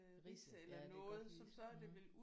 Ridse ja det kan godt lige